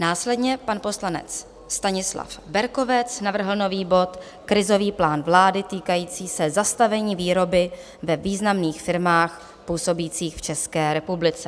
Následně pan poslanec Stanislav Berkovec navrhl nový bod Krizový plán vlády týkající se zastavení výroby ve významných firmách působících v České republice.